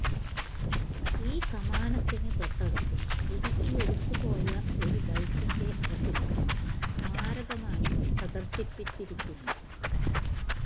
ഈ കമാനത്തിനു തൊട്ടടുത്ത് ഉരുകിയൊലിച്ചുപോയ ഒരു ബൈക്കിന്റെ അവശിഷ്ടം സ്മാരകമായി പ്രദര്ശിപ്പിച്ചിരിക്കുന്നു